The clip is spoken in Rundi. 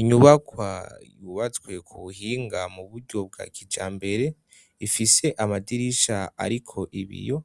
Inyubakwa yubatswe ku buhinga mu buryo bwa kija mbere ifise amadirisha, ariko ibiyo